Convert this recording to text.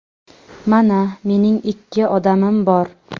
Mana, mening ikki odamim bor.